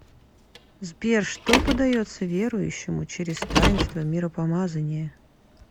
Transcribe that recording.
сбер что подается верующему через таинство миропомазания